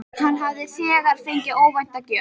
Hann hafði þegar fengið óvænta gjöf.